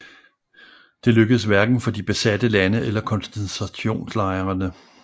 Det lykkedes hverken for de besatte lande eller koncentrationslejrene